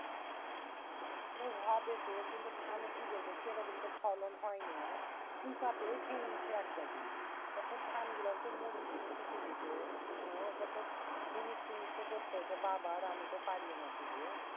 ওটা হবে তো কিন্তু ধানে কি বল তো সেই রকম ফলন হয়নি। পোংকাতেই খেয়ে লিছে একগাদি। অর্থাৎ ধান গিলান হচ্ছে মরি গেইছে শুকে গেনছে। হম এবার দর মুনিষ টুনিষ তো করতে হইছে বাবার। আমি তো পাড়িই না শুধু